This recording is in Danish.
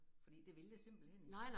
Fordi det vil jeg simpelthen ikke